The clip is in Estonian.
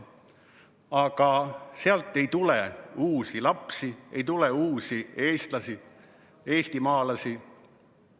Aga sealt ei tule uusi lapsi, ei tule uusi eestlasi, eestimaalasi.